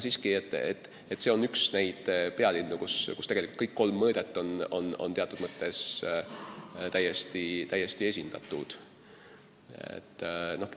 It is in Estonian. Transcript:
Kokku võttes on see üks neid pealinnu, kus tegelikult kõik kolm mõõdet on teatud mõttes täiesti esindatud.